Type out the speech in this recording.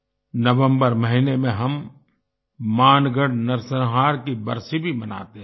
नवंबर महीने में हम मानगढ़ नरसंहार की बरसी भी मनाते हैं